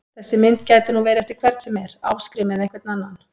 Þessi mynd gæti nú verið eftir hvern sem er, Ásgrím eða einhvern annan!